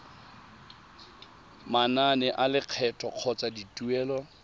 manane a lekgetho kgotsa dituelo